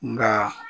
Nka